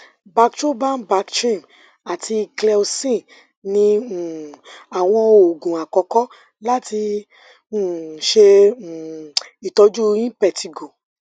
bactroban bactrim ati cleocin ni um awọn oogun akọkọ lati um ṣe um itọju impetigo